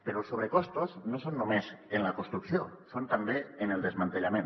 però els sobrecostos no són només en la construcció ho són també en el desmantellament